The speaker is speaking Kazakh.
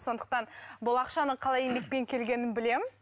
сондықтан бұл ақшаның қалай еңбекпен келгенін білемін